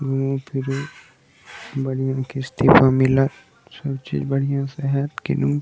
घूमे फिरे बढियाँ किस्ती पे मिलत सब चीज बढियाँ से हेत कीनू --